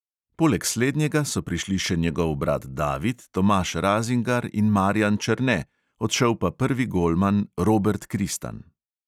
Poleg slednjega so prišli še njegov brat david, tomaž razingar in marijan černe, odšel pa prvi golman robert kristan.